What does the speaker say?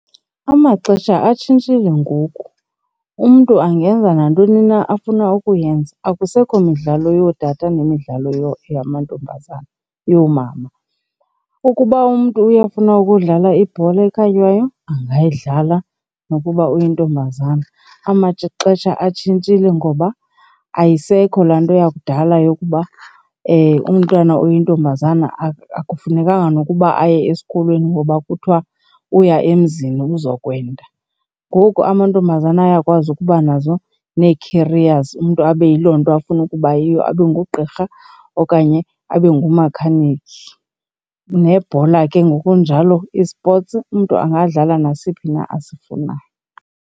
Amaxesha atshintshile ngoku, umntu angenza nantoni na afuna ukuyenza. Akusekho midlalo yootata nemidlalo yamantombazana yoomama, Ukuba umntu uyafuna ukudlala ibhola ekhatywayo angayidlala nokuba uyintombazana. Amaxesha atshintshile ngoba ayisekho laa nto yakudala yokuba umntwana oyintombazana akufunekanga nokuba aye esikolweni ngoba kuthiwa uya emzini uzokwenza. Ngoku amantombazana ayakwazi ukuba nazo nee-careers umntu abe yiloo nto afuna ukubayiyo abe ngugqirha okanye abe ngu-mechanic. Nebhola ke ngokunjalo, ii-sports, umntu angadlala nasiphi na asifunayo.